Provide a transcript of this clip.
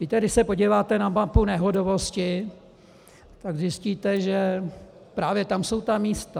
Víte, když se podíváte na mapu nehodovosti, tak zjistíte, že právě tam jsou ta místa.